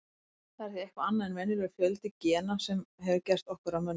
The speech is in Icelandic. Það er því eitthvað annað en óvenjulegur fjöldi gena sem hefur gert okkur að mönnum.